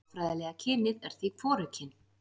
Málfræðilega kynið er því hvorugkyn.